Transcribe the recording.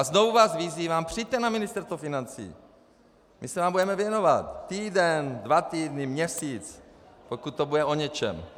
A znovu vás vyzývám, přijďte na Ministerstvo financí, my se vám budeme věnovat týden, dva týdny, měsíc, pokud to bude o něčem.